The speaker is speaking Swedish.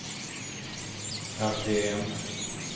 RPM